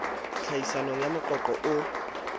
tlhahisong ya moqo qo o